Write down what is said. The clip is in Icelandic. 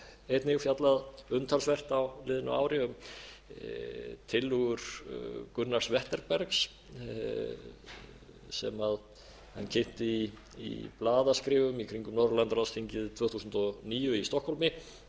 einnig fjallað umtalsvert á liðnu ári um tillögur gunnars wetterbergs sem hann kynnti í blaðaskrifum í kringum norðurlandaráðsþingið tvö þúsund og níu í stokkhólmi